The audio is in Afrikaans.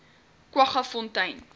kwaggafontein